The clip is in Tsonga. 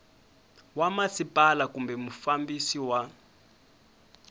wa masipala kumbe mufambisi wa